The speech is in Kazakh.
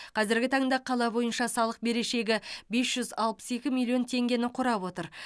қазіргі таңда қала бойынша салық берешегі бес жүз алпыс екі миллион теңгені құрап отыр